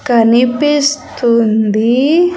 కనిపిస్తుంది.